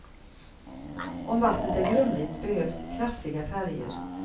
Om vattnet är grumligt behövs kraftiga färger.